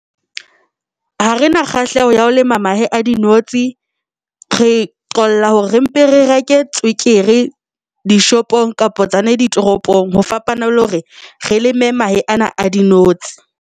Ha re na kgahleho ya ho lema mahe dinotshi, re qolla hore re mpe re reke tswekere dishopong kapa tsona ditoropong. Ho fapana le hore re leme mahe ana a dinotshi.